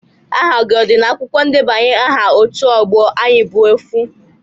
Aha gị a dị n'akwụkwọ ndebanye aha ótú ọgbọ Ayị bụ Ofu?